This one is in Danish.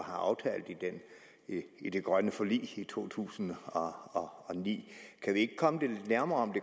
aftalt i det grønne forlig i to tusind og ni kan vi ikke komme det lidt nærmere